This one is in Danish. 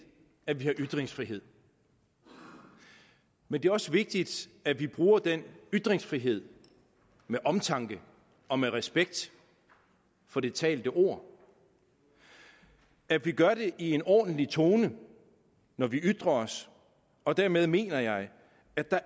at vi har ytringsfrihed men det er også vigtigt at vi bruger den ytringsfrihed med omtanke og med respekt for det talte ord at vi gør det i en ordentlig tone når vi ytrer os og dermed mener jeg at der